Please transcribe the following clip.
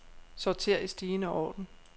Sorter i stigende orden.